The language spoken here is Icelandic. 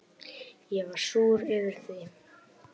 Ég var súr yfir því.